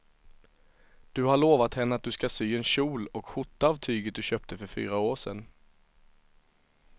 Du har lovat henne att du ska sy en kjol och skjorta av tyget du köpte för fyra år sedan.